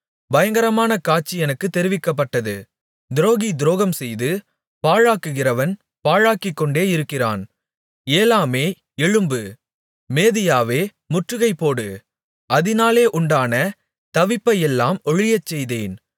பயங்கரமான காட்சி எனக்குத் தெரிவிக்கப்பட்டது துரோகி துரோகம்செய்து பாழாக்குகிறவன் பாழாக்கிக்கொண்டே இருக்கிறான் ஏலாமே எழும்பு மேதியாவே முற்றுகைபோடு அதினாலே உண்டான தவிப்பையெல்லாம் ஒழியச்செய்தேன்